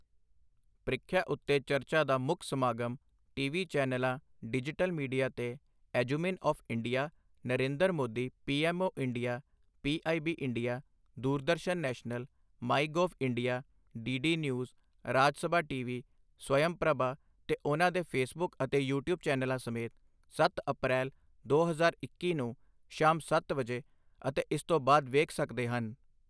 ਪ੍ਰੀਖਿਆ ਉੱਤੇ ਚਰਚਾ ਦਾ ਮੁੱਖ ਸਮਾਗਮ ਟੀਵੀ ਚੈਨਲਾਂ ਡਿਜੀਟਲ ਮੀਡੀਆ ਤੇ EduMin of India, Narendra Modi, PMO India, PIB India, Doordarshan National, MyGov India, DD News, Rajya Sabha TV, Swayamprabha ਤੇ ਉਨ੍ਹਾਂ ਦੇ ਫੇਸਬੁੱਕ ਅਤੇ ਯੂਟਿਊਬ ਚੈਨਲਾਂ ਸਮੇਤ ਸੱਤ ਅਪ੍ਰੈਲ, ਦੋ ਹਜ਼ਾਰ ਇੱਕੀ ਨੂੰ ਸ਼ਾਮ ਸੱਤ ਵਜੇ ਅਤੇ ਇਸ ਤੋਂ ਬਾਅਦ ਵੇਖ ਸਕਦੇ ਹਨ।